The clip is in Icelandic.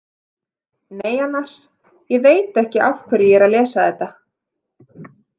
Nei, annars, ég veit ekki af hverju ég er að lesa þetta.